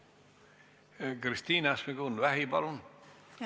Kristina Šmigun-Vähi, palun!